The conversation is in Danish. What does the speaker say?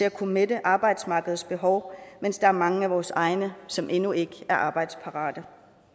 at kunne mætte arbejdsmarkedets behov mens der er mange af vores egne som endnu ikke er arbejdsparate